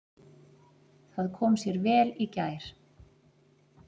Það kom sér vel í gær.